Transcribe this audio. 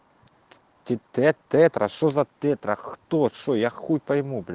ти т тетра что за тетра кто что я хуй пойму бля